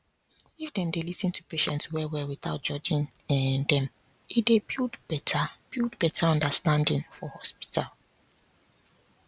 if dem dey lis ten to patients well well without judging um them e dey build better build better understanding for hospital